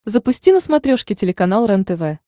запусти на смотрешке телеканал рентв